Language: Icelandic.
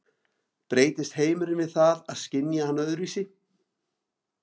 Breytist heimurinn við það að skynja hann öðruvísi?